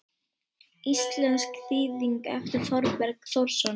Íslensk þýðing eftir Þorberg Þórsson.